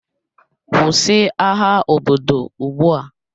Kwụsị agha obodo ugbu a!